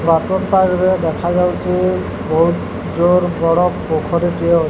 water park ରେ ଦେଖାଯାଉଚି ବୋହୁତ ଜୋର ବଡ଼ ପୋଖରୀ ଟିଏ ଅ